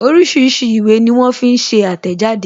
Oríṣiríṣi ìwé ní wón fi ń ṣe àtẹ̀jáde